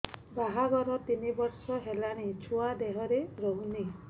ବାହାଘର ତିନି ବର୍ଷ ହେଲାଣି ଛୁଆ ଦେହରେ ରହୁନି